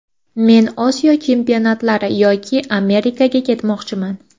Men Osiyo chempionatlari yoki Amerikaga ketmoqchiman.